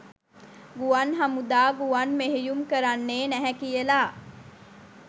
ගුවන් හමුදා ගුවන් මෙහෙයුම් කරන්නේ නැහැ කියලා.